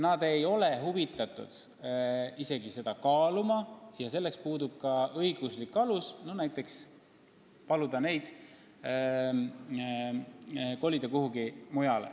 Nad ei ole huvitatud isegi seda kaaluma ja puudub ka õiguslik alus paluda neid ära kolida.